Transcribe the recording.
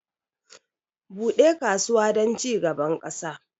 Bude kasuwa don cigaban ƙasa